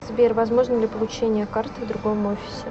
сбер возможно ли получение карты в другом офисе